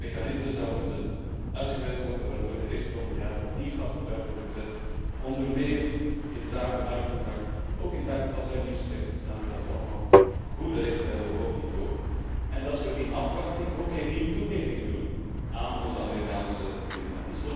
Er moet een soort mechanisme uitgewerkt worden waardoor de eerstkomende jaren opnieuw stappen vooruit worden gezet, onder meer inzake markttoegang, ook inzake passagiersrechten, zodanig dat we allemaal goede rechten hebben op hoog niveau, en dat we in afwachting ook geen nieuwe toegevingen doen aan onze Amerikaanse vrienden.